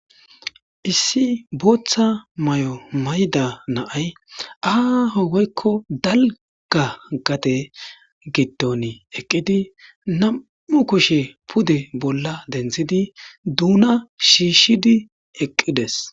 Issi booththa may7o mayda naay aaho woykko dalga gate gidton eqqidi nam7u kushe pude bolla denthidi duuna shiishidi eqqides.